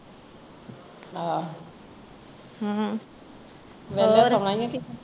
ਆਹ ਹਮ